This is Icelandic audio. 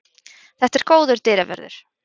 Þetta er góður dyravörður.